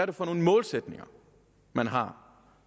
det for nogle målsætninger man har